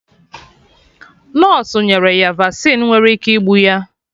Nọsụ nyere ya Vasịn nwere ike igbu ya